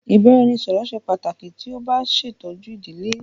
Ibaraẹnisọrọ ṣe pataki ti o ba ṣetọju idile